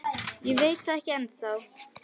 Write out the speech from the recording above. Ég veit það ekki ennþá.